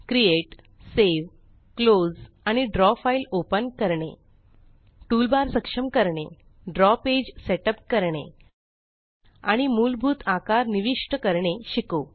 create save close आणि draw file open करणे toolbar सक्षम करणे ड्रॉ पेज सेट अप करणे आणि मुलभूत आकार निविष्ट करणे शिकू